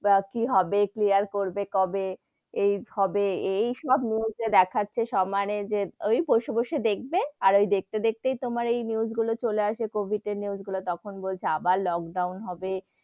কি হবে, clear করবে কবে? এই হবে এই সব news এ দেখাচ্ছে সমানে ওই বসে বসে দেখবে আর ওই দেখতে দেখতে দেখতেই তোমার এই news গুলো চলে আসে কোবিদ এর news গুলো, তখন বলছে আবার লোকডাউন হবে,